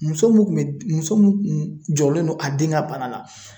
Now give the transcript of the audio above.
Muso mun kun bɛ muso min kun jɔrɔlen don a den ka bana la ,